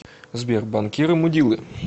сбер банкиры мудилы